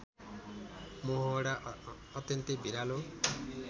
मोहडा अत्यन्तै भिरालो